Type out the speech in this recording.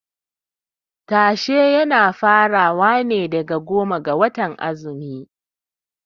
Tashe yana farawa daga goma ga watan azumi.